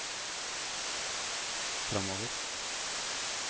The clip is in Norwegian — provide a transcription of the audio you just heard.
fremover